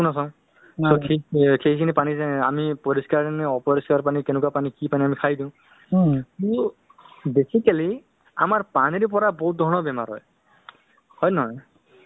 so সেইটো মানে কৰা উচিত মানে তেওঁলোকৰ শৰীৰত কি হৈ আছে কোনতো বস্তু বাঢ়ি গৈছে বা কোনতো বস্তু কমি গৈছে equal আছে নে নাই মানে নিজৰ স্বাস্থ্যৰ বিষয়ে অলপ মানে ধৰক পৰামৰ্শ লোৱাতো উচিত বুলি ভাবো যিটো বৰ্তমান অসম আহি আছে কিয়নো